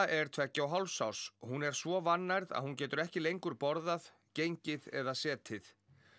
er tveggja og hálfs árs hún er svo vannærð að hún getur ekki lengur borðað gengið eða setið